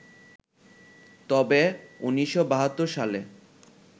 তবে ১৯৭২ সালে